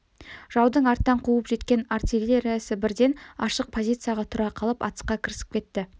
жаудың арттан қуып жеткен артиллериясы бірден ашық позицияға тұра қалып атысқа кірісіп кетті